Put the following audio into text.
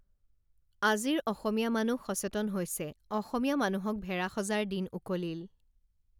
আজিৰ অসমীয়া মানুহ সচেতন হৈছে অসমীয়া মানুহক ভেড়া সজাৰ দিন উকলিল